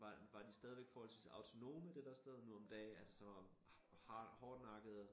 Var var de stadig forholdsvis autonome det der sted nu om dagen er det så hårnakkede